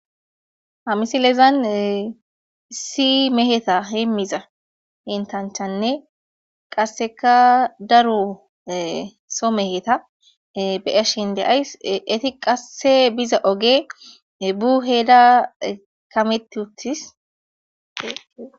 ha misilezan isi meheta himmiza hintancthanne qasseka daro so meheta beyashin de'ays eti qasse biza oge buheda kamett uttis